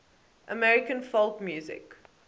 american folk music